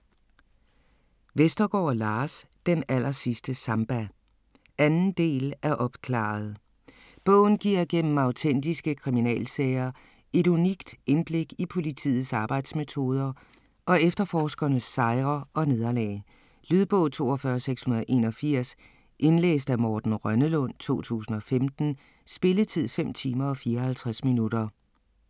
Vestergaard, Lars: Den allersidste samba 2. del af Opklaret!. Bogen giver gennem autentiske kriminalsager et unikt indblik i politiets arbejdsmetoder og efterforskernes sejre og nederlag. Lydbog 42681 Indlæst af Morten Rønnelund, 2015. Spilletid: 5 timer, 54 minutter.